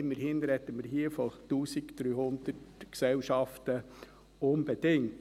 Immerhin sprechen wir hier von 1300 Gesellschaften unbedingt.